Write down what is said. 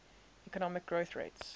economic growth rates